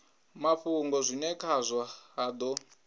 mafhungo zwine khazwo ha do